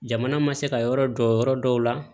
Jamana ma se ka yɔrɔ jɔ yɔrɔ dɔw la